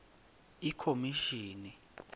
ikhomishini